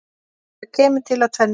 Það kemur til af tvennu.